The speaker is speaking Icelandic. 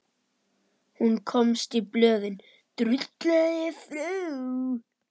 Hún komst í blöðin.